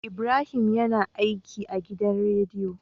Ibrahim yAna aiki a gidan rediyo